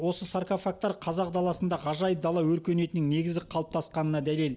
бұл саркофагтар қазақ даласында ғажайып дала өркениетінің негізі қалыптасқанына дәлел